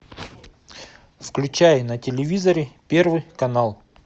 включай на телевизоре первый канал